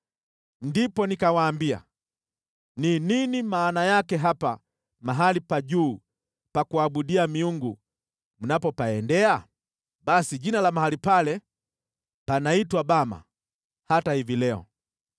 Ndipo nikawaambia: Ni nini maana yake hapa mahali pa juu pa kuabudia miungu mnapopaendea?’ ” (Basi jina la mahali pale panaitwa Bama hata hivi leo.)